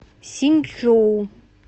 синьчжоу